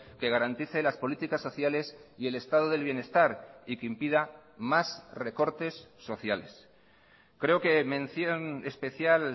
que garantice las políticas sociales y el estado del bienestar y que impida más recortes sociales creo que mención especial